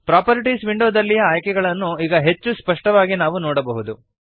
properties ವಿಂಡೋದಲ್ಲಿಯ ಆಯ್ಕೆಗಳನ್ನು ಈಗ ಹೆಚ್ಚು ಸ್ಪಷ್ಟವಾಗಿ ನಾವು ನೋಡಬಹುದು